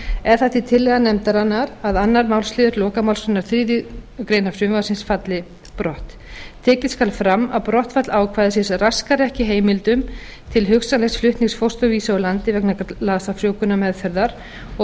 er það því tillaga nefndarinnar að annar málsliður lokamálsgreinar þriðju greinar frumvarpsins falli brott tekið skal fram að brottfall ákvæðisins raskar ekki heimildum til hugsanlegs flutnings fósturvísa úr landi vegna glasafrjóvgunarmeðferðar og